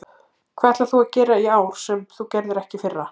Hvað ætlar þú að gera í ár sem þú gerðir ekki í fyrra?